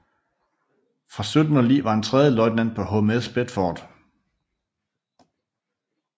Fra 1709 var han tredje løjtnant på HMS Bedford